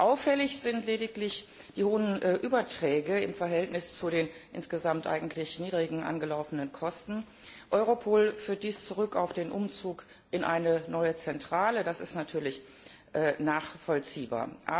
Auffällig sind lediglich die hohen Überträge im Verhältnis zu den insgesamt eigentlich niedrigen angelaufenen Kosten. Europol führt dies zurück auf den Umzug in eine neue Zentrale das ist natürlich nachvollziehbar.